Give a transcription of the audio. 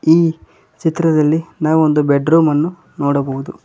ಈ ಚಿತ್ರದಲ್ಲಿ ನಾವು ಒಂದು ಬೆಡ್ ರೂಮನ್ನು ನೋಡಬಹುದು.